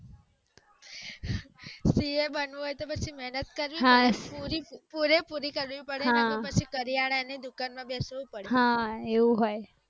CA બનવું હોય તો પછી મેહનત કરવી પડે પૂરે પૂરી કરવી પડે હા નહિતર પછી કરિયાના ની દુકાન માં બેસવું પડે